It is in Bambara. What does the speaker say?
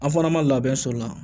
An fana ma labɛn sɔl la